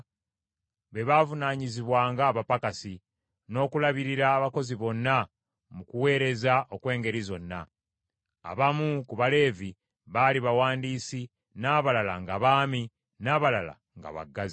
be baavunaanyizibwanga abapakasi, n’okulabirira abakozi bonna mu kuweereza okw’engeri zonna. Abamu ku Baleevi baali bawandiisi, n’abalala ng’abaami, n’abalala nga baggazi.